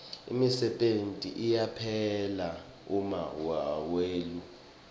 imisebenti iyaphela uma wehule